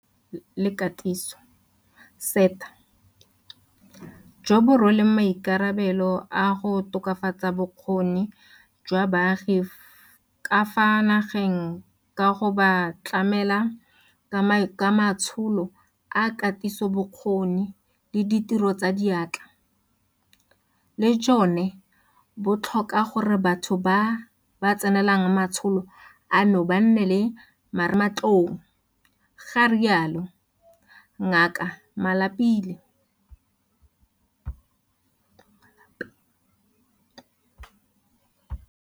Bothati jwa Lekala la Thuto le Katiso, SETA, jo bo rweleng maikarabelo a go tokafatsa bokgoni jwa baagi ka fa nageng ka go ba tlamela ka matsholo a katisobokgoni le a ditiro tsa diatla, le jone bo tlhoka gore batho ba ba tsenelang matsholo ano ba nne le marematlou, ga rialo Ngaka Malapile.